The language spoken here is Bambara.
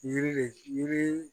Yiri de yiri